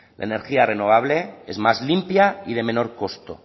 le energía renovable es más limpia y de menor costo